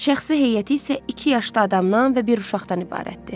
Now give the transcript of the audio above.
Şəxsi heyəti isə iki yaşlı adamdan və bir uşaqdan ibarətdir.